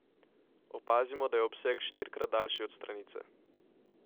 Opazimo, da je obseg štirikrat daljši od stranice.